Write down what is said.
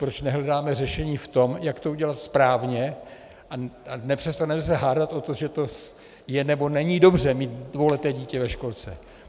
Proč nehledáme řešení v tom, jak to udělat správně, a nepřestaneme se hádat o tom, že to je, nebo není dobře mít dvouleté dítě ve školce?